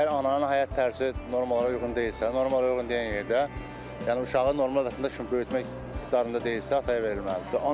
Əgər ananın həyat tərzi normalara uyğun deyilsə, normala uyğun deyilən yerdə yəni uşağı normal həyat tərsinə böyütmək qüdrətində deyilsə, ataya verilməlidir.